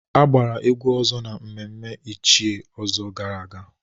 A gbara egwu ọzọ na mmemme ichi ọzọ gara aga.